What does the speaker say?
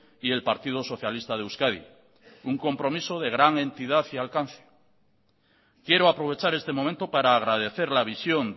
y el partido socialista de euskadi un compromiso de gran entidad y alcance quiero aprovechar este momento para agradecer la visión